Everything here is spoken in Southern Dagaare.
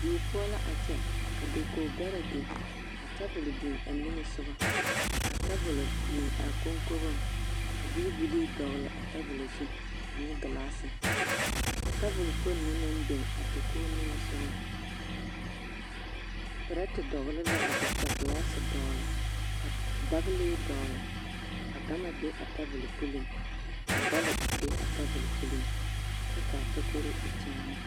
Die poɔ la a kyɛ ka dakogi bɛrɛ biŋ ka tabol biŋ a niŋesoga, ka tabol biŋ a koŋkogoŋ ka doobilii dɔgele a tabolo zu ane gilaasi, a tabol kpoŋ na naŋ biŋ a dakogi niŋesogɔ perɛte dɔgele la be ka gilaasi dɔgele ka dagilee dɔgele ka gama be a tabol puliŋ ka bɔl be a tabol puliŋ kyɛ k'a takori e kyaane.